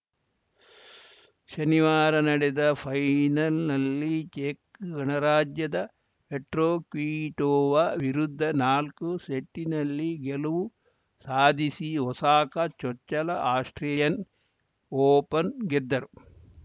ಶನಿವಾರ ನಡೆದ ಫೈನಲ್‌ನಲ್ಲಿ ಚೆಕ್‌ ಗಣರಾಜ್ಯದ ಪೆಟ್ರೋ ಕ್ವಿಟೋವಾ ವಿರುದ್ಧ ನಾಲ್ಕು ಸೆಟ್ಟಿನಲ್ಲಿ ಗೆಲುವು ಸಾಧಿಸಿ ಒಸಾಕ ಚೊಚ್ಚಲ ಆಸ್ಪ್ರೇಲಿಯನ್‌ ಓಪನ್‌ ಗೆದ್ದರು